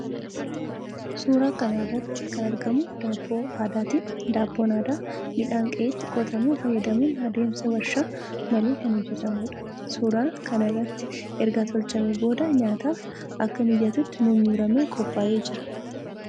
Suuraa kana irratti kan argamu daabboo aadaati. Daabboon aadaa midhaan qe'eetti qotamu fayyadamuun adeemsa warshaa malee kan hojjetamuudha. Suuraa kana irrattis erga tolchamee booda nyaataaf akka mijatutti murmuramee qophaa'ee jira.